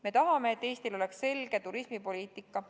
Me tahame, et Eestil oleks selge turismipoliitika.